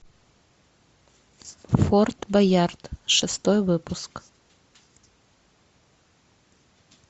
форт боярд шестой выпуск